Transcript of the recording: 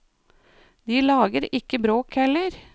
De lager ikke bråk heller.